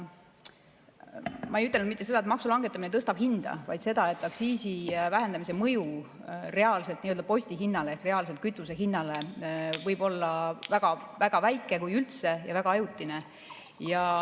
Ma ei ütelnud mitte seda, et maksu langetamine tõstab hinda, vaid seda, et aktsiisi vähendamise mõju reaalselt nii-öelda postihinnale ehk reaalselt kütuse hinnale võib olla väga väike, kui üldse, ja väga ajutine.